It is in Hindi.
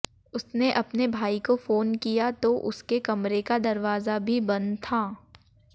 उसने अपने भाई को फोन किया तो उसके कमरे का दरवाजा भी बंद था